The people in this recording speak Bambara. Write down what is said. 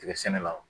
Tigɛ sɛnɛlaw